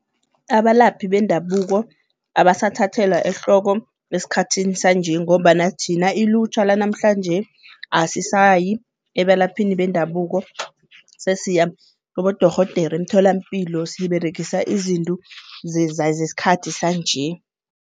Abalaphi bendabuko abasathathelwa ehloko esikhathini sanje ngombana thina ilutjha lanamhlanje asisayi ebalaphini bendabuko sesiya kibodorhodere emtholampilo siberegisa izintu zesikhathi sanje.